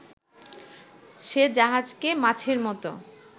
সে জাহাজকে মাছের মতো